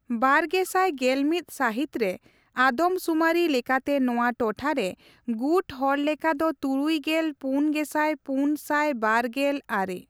ᱵᱟᱨᱜᱮᱥᱟᱭ ᱜᱮᱞᱢᱤᱛ ᱥᱟᱹᱦᱤᱛ ᱨᱮ ᱟᱫᱚᱢ ᱥᱩᱢᱟᱨᱤ ᱞᱮᱠᱟᱛᱮ ᱱᱚᱣᱟ ᱴᱚᱴᱷᱟ ᱨᱮ ᱜᱩᱴ ᱦᱚᱲᱞᱮᱠᱷᱟ ᱫᱚ ᱛᱩᱨᱩᱭ ᱜᱮᱞ ᱯᱩᱱ ᱜᱮᱥᱟᱭ ᱯᱩᱱ ᱥᱟᱭ ᱵᱟᱨ ᱜᱮᱞ ᱟᱨᱮ ᱾